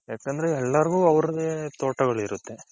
ಯಾಕಂದ್ರೆ ಎಲ್ಲಾರ್ಗೂ ಅವರದೆ ತೋಟಗಳಿರುತ್ತೆ.